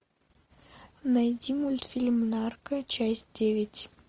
найди мультфильм нарко часть девять